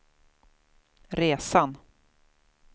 resan